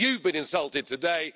You've been insulted today.